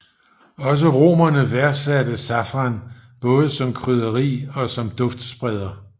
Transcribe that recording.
Også romerne værdsatte safran både som krydderi og som duftspreder